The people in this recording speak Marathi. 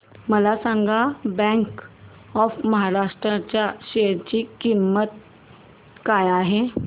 मला सांगा बँक ऑफ महाराष्ट्र च्या शेअर ची किंमत काय आहे